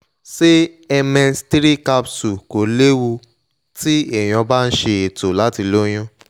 ṣé mx three capsule kò léwu ti eyan ba she eto lati loyun?